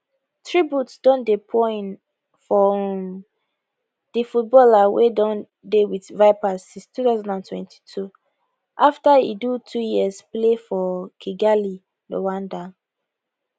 tributes don dey pour in for um di footballer wey don dey wit vipers since 2022 afta e do two years play for kigali rwanda